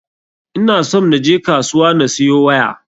Ina somn na je kasuwa na siyo waya.